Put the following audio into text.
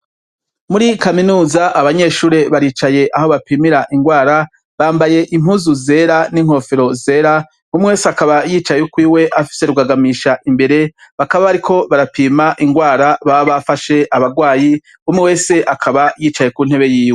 Muri kaminuza abanyeshure baricaye aho bapimira indwara ,bambaye impuzu zera n'inkofero zera ,umwe wese akaba yicaye ukwiwe imbere yiwe afise rugagamisha imbere bakaba bariko barapima indwara baba bafashe abagwayi, umwe wese akaba yicaye ku ntebe yiwe.